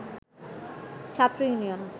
ছাত্র ইউনিয়ন